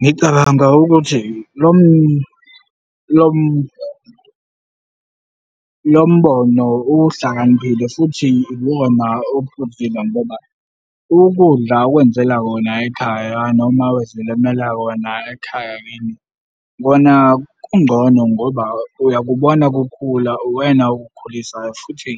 Ngicabanga ukuthi lo mbono uhlakaniphile futhi iwona ophuzile ngoba ukudla okwenzela wona ekhaya noma ozilimela wona ekhaya kini, kona kungcono ngoba uyakubona kukhula uwena okukhulisayo futhi